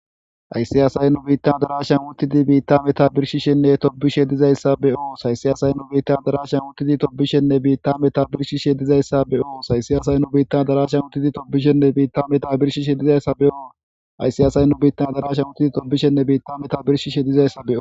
Hayssi asay nubitta adarashan utidi metta birshishenne tobishshe dizayssa be's hayssi nubitta adarashan uttidi meta birshishene tobishe dizayssa be's hayssi asay adarashan uttidi bitta metta birshishene tobishe dizayssa be's.